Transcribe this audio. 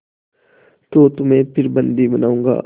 तो तुम्हें फिर बंदी बनाऊँगा